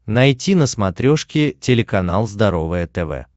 найти на смотрешке телеканал здоровое тв